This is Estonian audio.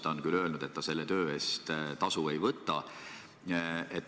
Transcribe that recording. Ta on küll öelnud, et ta selle töö eest tasu ei võta.